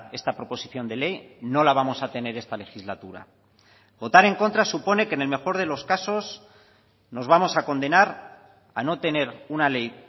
esta proposición de ley no la vamos a tener esta legislatura votar en contra supone que en el mejor de los casos nos vamos a condenar a no tener una ley